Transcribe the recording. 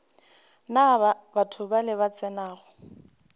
na batho bale ba tsenago